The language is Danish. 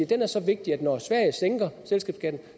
den er så vigtig at når sverige sænker selskabsskatten